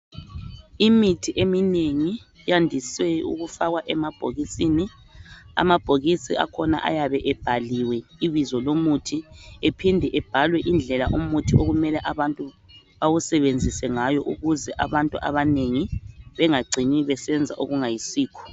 Imithi eminengi yandise ukufakwa emabhokisini amabhokisi akhona ayabe ebhaliwe ibizo lomuthi ephinde ebhalwe indlela umuthi okumele abantu bawusebenzise ngayo ukuze abantu abanengi bengacini besenza okungayisikho.